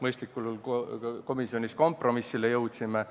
mõistlikule kompromissile jõudsime.